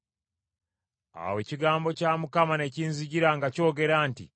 Awo ekigambo kya Mukama ne kinzijira nga kyogera nti,